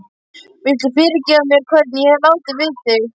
Viltu fyrirgefa mér hvernig ég hef látið við þig?